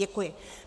Děkuji.